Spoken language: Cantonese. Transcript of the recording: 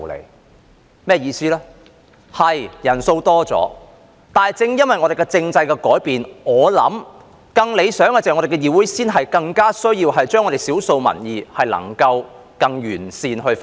我的意思是：確實，人數是增加了，但正因為我們政制的改變——我相信更理想的是——議會才更需要把少數民意更完善地反映。